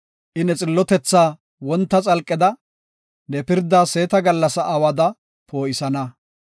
I ne xillotethaa wonta xalqeda, ne pirdaa seeta gallasa awada poo7isana.